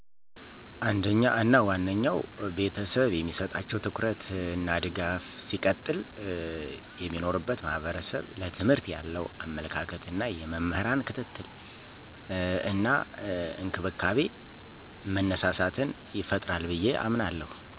አንደኛ እና ዋነኛው ቤተሰብ የሚሰጣቸው ትኩረት እና ድጋፍ ሲቀጥል የሚኖሩበት ማህበረሰብ ለትምህርት ያለዉ አመለካከት እና የመምህራን ክትትል እና እንክብካቤ መነሳሳትን ይፈጥራል ብየ አምናለሁ።